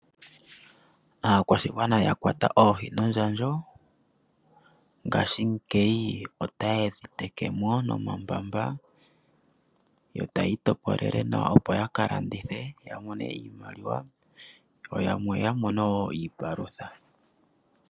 Aakwashigwana ya kwata oohi nondjandjo ngashingeyi otaye dhi tekemo nomambamba, yo taya itopolele nawa opo ya ka landithe ya mone iimaliwa yo yamwe ya mone wo iipalutha.